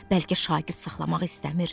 Bəlkə şagird saxlamaq istəmir.